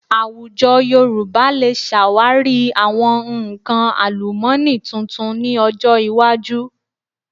Àwùjọ Yorùbá lè ṣàwárí àwọn nǹkan àlùmọ́nì tuntun ní ọjọ iwájú